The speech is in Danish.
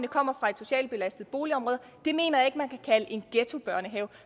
kommer fra et socialt belastet boligområde en ghettobørnehave